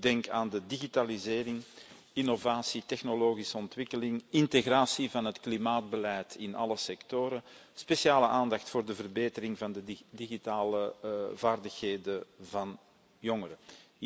Ik denk aan de digitalisering, innovatie, technologische ontwikkeling, integratie van het klimaatbeleid in alle sectoren en speciale aandacht voor de verbetering van de digitale vaardigheden van jongeren.